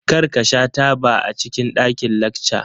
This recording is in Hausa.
Kar ka sha taba a cikin ɗakin lacca!